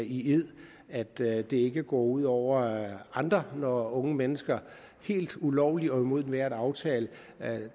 i ed at det det ikke går ud over andre når unge mennesker helt ulovligt og imod enhver aftale